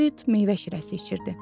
Berit meyvə şirəsi içirdi.